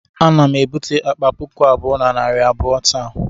Ana m ebute akpa puku abụọ na narị abụọ taa